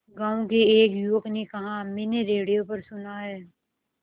गांव के एक युवक ने कहा मैंने रेडियो पर सुना है